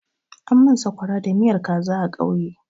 An min sakwara da miyan kaza a ƙauye.